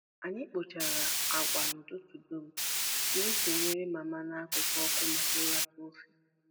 Anyị kpụchara agwa n'ụtụtụ dum, wee sonyere Mama n'akụkụ ọkụ maka ịratụ ofe.